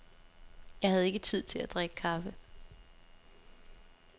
Jeg havde ikke tid til at drikke kaffe.